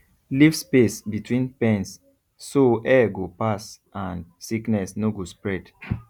leave space between pens so air go pass and sickness no go spread